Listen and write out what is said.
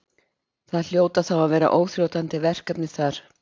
Það hljóta þá að vera óþrjótandi verkefni þar?